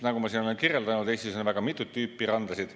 Nagu ma siin olen kirjeldanud, Eestis on väga mitut tüüpi randasid.